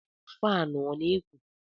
Fanu ọ na eku?